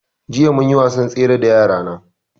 Jiya munyi wasan tsere da yara na